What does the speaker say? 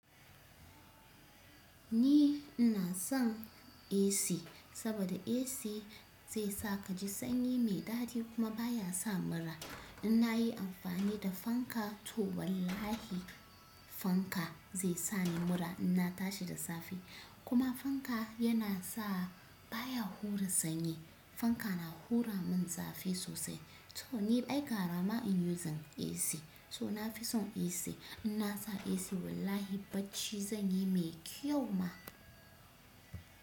Ni ina son AC, saboda AC zai sa ka ji sanyi mai daɗi kuma baya sa mura. In nayi amfani da fanka, to wallahi, fanka zai sa ni mura inna tashi da safe, kuma fanka yana sa, baya hura sanyi. Fanka na hura min zafi sosai, to ni ai garama in using AC, to na fi son AC. In na sa AC wallahi bacci zanyi mai kyau ma.